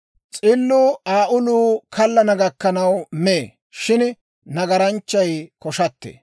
S'illuu Aa uluu kallana gakkanaw mee; shin nagaranchchay koshattee.